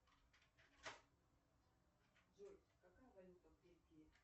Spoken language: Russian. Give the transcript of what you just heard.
джой какая валюта в бельгии